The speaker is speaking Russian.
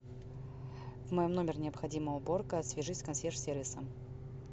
вот мой номер необходима уборка свяжись с консьерж сервисом